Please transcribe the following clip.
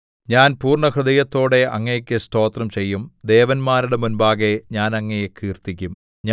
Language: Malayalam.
ഞാൻ പൂർണ്ണഹൃദയത്തോടെ അങ്ങേക്കു സ്തോത്രം ചെയ്യും ദേവന്മാരുടെ മുമ്പാകെ ഞാൻ അങ്ങയെ കീർത്തിക്കും